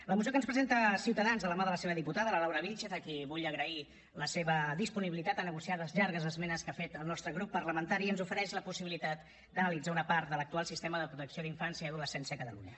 la moció que ens presenta ciutadans de la mà de la seva diputada la laura vílchez a qui vull agrair la seva disponibilitat a negociar les llargues esmenes que ha fet el nostre grup parlamentari ens ofereix la possibilitat d’analitzar una part de l’actual sistema de protecció d’infància i adolescència a catalunya